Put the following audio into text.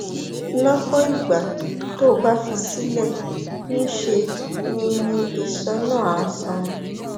lọpọ ìgbà tó o bá fi í sílẹ ńṣe ni ni iṣan náà á sàn